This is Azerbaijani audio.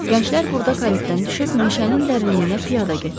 Gənclər burda karetdən düşüb meşənin dərinliyinə piyada getdilər.